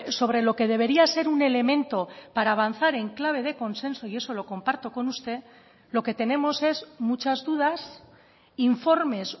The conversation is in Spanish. sobre lo que debería ser un elemento para avanzar en clave de consenso y eso lo comparto con usted lo que tenemos es muchas dudas informes